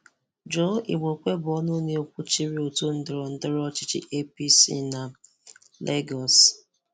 Joe Igbokwe bụ ọ̀nụ na-ekwùchìrì otu ndọrọ̀ndọrọ̀ ọchịchị APC na Lègòs.